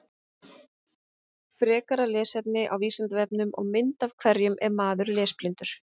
Frekara lesefni á Vísindavefnum og mynd Af hverju er maður lesblindur?